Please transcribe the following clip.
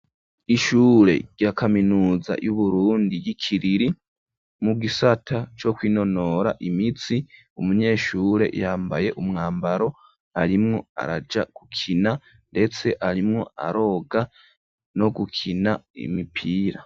Ishure rya kaminuza y'Uburundi y'Ikiriri mu gisata co kwinonora imitsi, umunyeshure yambaye umwambaro arimwo araja gukina ndetse arimwo aroga no gukina imipira.